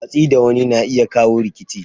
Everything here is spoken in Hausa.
Watsi da wani na iya kawo rikici.